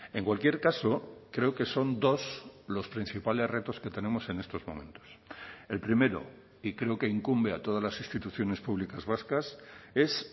en cualquier caso creo que son dos los principales retos que tenemos en estos momentos el primero y creo que incumbe a todas las instituciones públicas vascas es